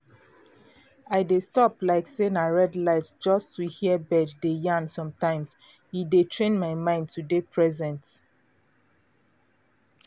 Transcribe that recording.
i dey stop like say na red light just to hear bird dey yarn sometimes e dey train my mind to dey present.